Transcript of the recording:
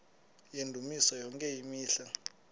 yendumiso yonke imihla